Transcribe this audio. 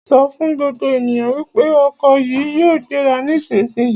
Sọ fún gbogbo ènìyàn wípé ọkọ̀ yìí yóò gbéra nísisìyìí!